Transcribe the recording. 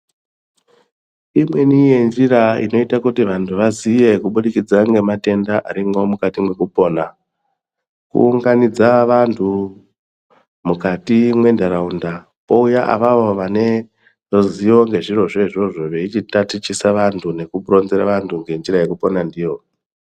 Imweni yenjira inoite kuti vantu vaziye kubudikidza ngematenda arimwo mwukati mwekupona, kuunganidza vantu mwukati mwentaraunda kouya avavo vane ruzivo ngezvirozvo izvozvo veichitatichisa vantu ngekuronzera vantu ngenjira yekupona ndiyo.